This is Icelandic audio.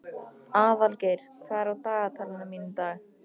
Aðalgeir, hvað er á dagatalinu mínu í dag?